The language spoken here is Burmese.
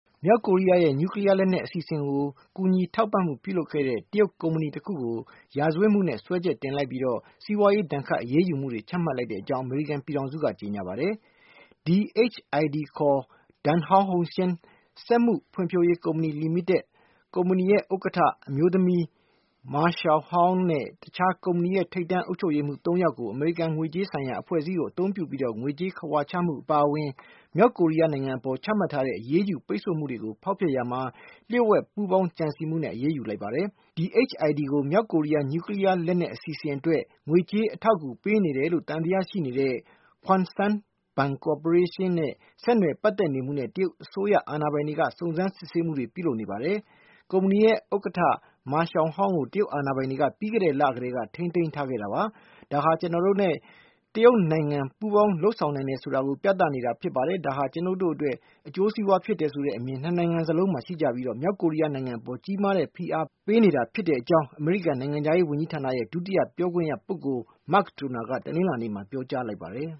မြောက်ကိုရီးယားရဲ့ နျူကလီးယားလက်နက် အစီအစဉ်ကို ကူညီထောက်ပံ့မှုပြုလုပ်ခဲ့တဲ့ တရုတ် ကုမ္ပဏီ တခုကို ရာဇဝတ်မှုနဲ့ အရေးယူလိုက်ပြီး စီးပွားရေးဒဏ်ခတ်အရေးမှုတွေ ချမှတ်လိုက်ကြောင်း အမေရိကန် ပြည်ထောင်စုက ကြေညာပါတယ်။ Dandong Hongxiang (DHID) စက်မှုဖွံ့ဖြိုးရေး ကုမ္ပဏီလီမိတက်၊ ကုမ္ပဏီရဲ့ ဥက္ကဌ အမျိုးသမီး Ma Xiaohang နဲ့ တခြား ကုမ္ပဏီ ထိပ်တန်း အုပ်ချုပ်ရေးမှုး ၃ ယောက်တို့ကို အမေရိကန် ငွေကြေးဆိုင်ရာအဖွဲ့အစည်းကို အသုံးပြုပြီး ငွေကြေးခဝါချမှု အပါအဝင် မြောက်ကိုရီးယား နိုင်ငံအပေါ် ချမှတ်ထားတဲ့ အရေးယူပိတ်ဆို့မှုတွေကို ဖောက်ဖျက်ရာမှာ လျှို့ဝှက်ပူးပေါင်း ကြံစည်မှု အရေးယူလိုက်ပါတယ်။ DHID ကို မြောက်ကိုရီးယား နျူကလီးယား လက်နက်အစီအစဉ် အတွက် ငွေကြေးအထောက်ကူ ပေးနေတယ်လို့ သံသယရှိနေတဲ့ Kwangson Banking Corporation နဲ့ ဆက်နွယ်ပတ်သက်နေမှုနဲ့ တရုတ်အစိုးရ အာဏာပိုင်တွေ ကလည်း စုံစမ်းစစ်ဆေးမှုတွေ ပြုလုပ်နေပါတယ်။ ကုမ္ပဏီ ဥက္ကဌ Ma Xiaohang ကို တရုတ်အာဏာပိုင်တွေက ပြီးခဲ့တဲ့လအတွင်း ကတည်းက ထိန်းသိမ်း ထားခဲ့တာပါ။ "ဒါဟာ ကျနော်တို့နဲ့ တရုတ်နိုင်ငံအကြား ပူးပေါင်းလုပ်ဆောင်နိုင်တယ်ဆိုတာကို ပြသနေတာဖြစ်ပါတယ်။ ကျနော်တို့နဲ့ သက်ဆိုင်တဲ့ အကျိုးစီးပွားကိစ္စ ဖြစ်တယ်ဆိုတဲ့အမြင် နှစ်နိုင်ငံစလုံးမှာ ရှိကြပြီး မြောက်ကိုရီးယားနိုင်ငံအပေါ် ကြီးမားတဲ့ ဖိအား ပေးနေကြတာ ဖြစ်ကြောင်း " အမေရိကန် နိုင်ငံခြားရေးဝန်ကြီးဌာနရဲ့ ဒုတိယ ပြောခွင့်ရ ပုဂ္ဂိုလ် Mark Toner ကလည်း တနင်္လာနေ့မှာ ပြောကြား လိုက်ပါတယ်